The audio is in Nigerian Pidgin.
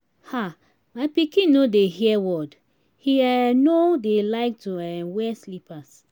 um my pikin no dey hear word he um no dey like to um wear slippers